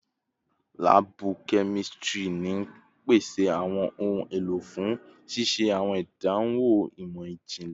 Laabu kemistri n pese awọn ohun elo fun ṣiṣe awọn idanwo imọ-jinlẹ